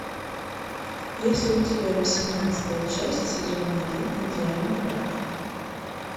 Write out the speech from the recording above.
есть ли у тебя восемнадцатая часть сезона один идеальный брак